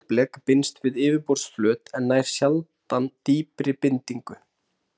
Sótblek binst við yfirborðsflöt en nær sjaldan dýpri bindingu.